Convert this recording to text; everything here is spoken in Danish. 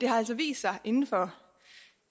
har altså vist sig inden for